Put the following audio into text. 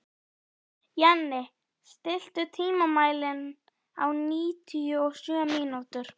Heppnin var með henni og hún komst sína leið óáreitt.